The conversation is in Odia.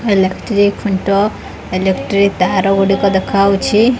ଇଲେକ୍ଟ୍ରି ଖୁଣ୍ଟ ଇଲେକ୍ଟ୍ରି ତାର ଗୁଡିକ ଦେଖାହଉଛି।